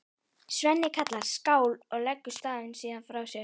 Svenni kallar skál og leggur staupið síðan frá sér.